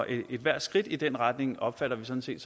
ethvert skridt i den retning opfatter vi sådan set